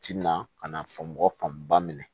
Ti na ka na faamu mɔgɔ fanba minɛ